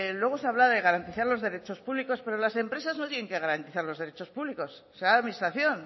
luego se habla de garantizar los derechos públicos pero las empresas no tienen que garantizar los derechos públicos será la administración